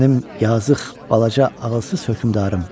Mənim yazıq balaca ağılsız hökmdarım.